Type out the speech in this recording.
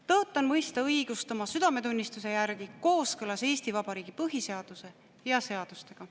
Tõotan mõista õigust oma südametunnistuse järgi kooskõlas Eesti Vabariigi põhiseaduse ja seadustega.